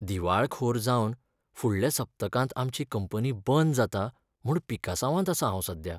दिवाळखोर जावन फुडल्या सप्तकांत आमची कंपनी बंद जाता म्हूण पिकासांवांत आसां हांव सध्या.